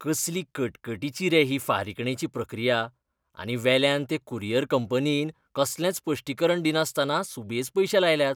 कसली कटकटीची रे ही फारीकणेची प्रक्रिया. आनी वेल्यान ते कुरियर कंपनीन कसलेंच स्पश्टीकरण दिनासतना सुबेज पयशे लायल्यात.